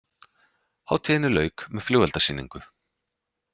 Hátíðinni lauk með flugeldasýningu